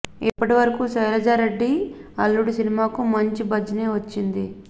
ఇప్పటి వరకు శైలజారెడ్డి అల్లుడు సినిమాకు మాంచి బజ్ నే వచ్చింది